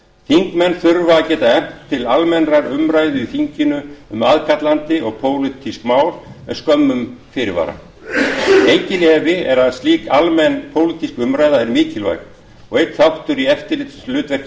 þingmenn þurfa að geta efnt til almennrar umræðu í þinginu um aðkallandi og pólitísk mál með skömmum fyrirvara enginn efi er að slík almenn pólitísk umræða er mikilvæg og einn þáttur í eftirlitshlutverki